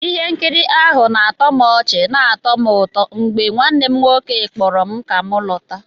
Ihe nkiri ahụ na-atọ ọchị na-atọ m ụtọ mgbe nwanne m nwoke kpọrọ m ka m lọta